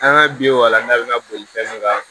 An ka bi wa n'a bɛ na boli fɛn min kan